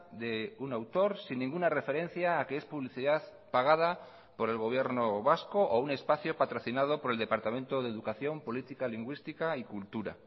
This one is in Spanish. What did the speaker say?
de un autor sin ninguna referencia a que es publicidad pagada por el gobierno vasco o un espacio patrocinado por el departamento de educación política lingüística y cultura